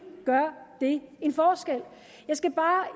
gør det en forskel jeg skal bare